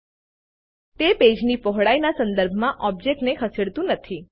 તે page width પેજની પહોળાઈ ના સંદર્ભમાં ઓબ્જેક્ટ ખસેડતું નથી